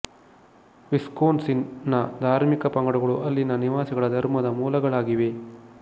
ವಿಸ್ಕೊನ್ ಸಿನ್ ನ ಧಾರ್ಮಿಕ ಪಂಗಡಗಳು ಅಲ್ಲಿನ ನಿವಾಸಿಗಳ ಧರ್ಮದ ಮೂಲಗಳಾಗಿವೆ